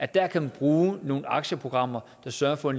der kan man bruge nogle aktieprogrammer der sørger for